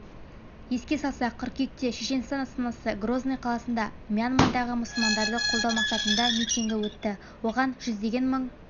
еске салсақ қыркүйекте шешенстан астанасы грозный қаласында мьянмадағы мұсылмандарды қолдау мақсатында митингі өтті оған жүздеген мың